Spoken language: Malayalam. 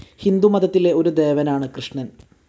ഹിന്ദുമതത്തിലെ ഒരു ദേവനാണ് കൃഷ്ണൻ.